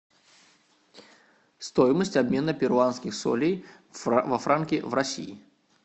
стоимость обмена перуанских солей во франки в россии